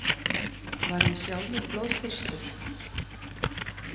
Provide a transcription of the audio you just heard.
Var ég sjálfur blóðþyrstur?